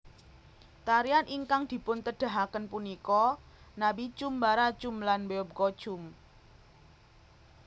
Tarian ingkang dipuntedahaken punika Nabichum Barachum lan Beopgochum